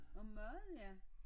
Om mad ja